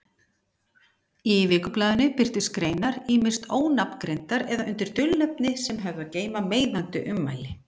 Í vikublaðinu birtust greinar ýmist ónafngreindar eða undir dulnefni sem höfðu að geyma meiðandi ummæli.